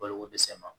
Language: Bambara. Balokodɛsɛ ma